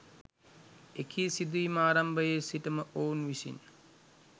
එකී සිදුවීම ආරම්භයේ සිටම ඔවුන් විසින්